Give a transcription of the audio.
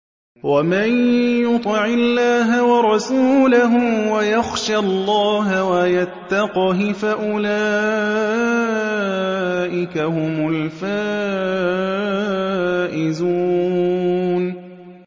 وَمَن يُطِعِ اللَّهَ وَرَسُولَهُ وَيَخْشَ اللَّهَ وَيَتَّقْهِ فَأُولَٰئِكَ هُمُ الْفَائِزُونَ